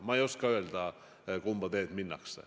Ma ei oska öelda, kumba teed minnakse.